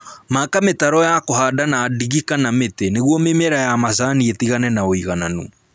Maka mĩtaro ya kũhanda na ndigi kana mĩtĩ nĩguo mĩmera ya macani ĩtagane na ũigananu